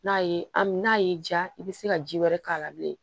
N'a ye n'a y'i diya i bɛ se ka ji wɛrɛ k'a la bilen